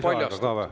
Kas soovite lisaaega?